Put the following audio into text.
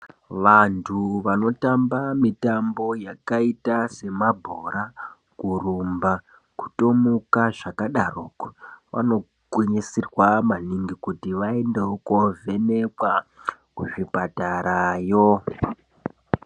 Vantu vanotamba mitambo yakaita semabhora, kurumba, kutomuka nezva kadaroko, vano gwinyisirwa maningi kuti vaendewo kovhenekwa kuzvipatara yo.